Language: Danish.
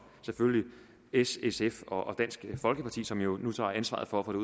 s sf og dansk folkeparti som jo nu tager ansvaret for at få det